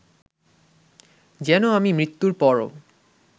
যেন আমি মৃত্যুর পরও